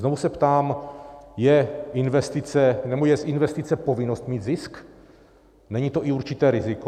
Znovu se ptám, je z investice povinnost mít zisk, není to i určité riziko?